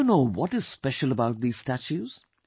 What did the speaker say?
Do you know what is special about these statues